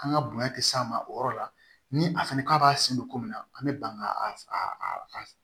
An ka bonya tɛ s'a ma o yɔrɔ la ni a fana k'a b'a sen don ko min na an bɛ ban ka